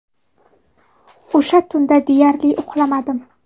O‘sha tunda deyarli uxlamadim.